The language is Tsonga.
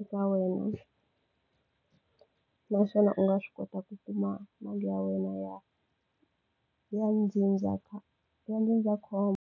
eka wena. Naswona u nga swi kota ku kuma mali ya wena ya ya ya ndzindzakhombo.